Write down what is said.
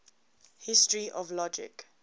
history of logic